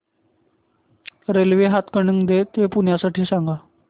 railway Hatkanangale ते पुणे साठी सांगा